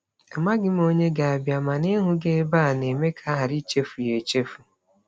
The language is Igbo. Amaghị m onye ga-abịa, mana ịhụ gị ebe a na-eme ka a ghara ịchefu ya echefu.